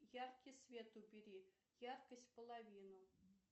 яркий свет убери яркость в половину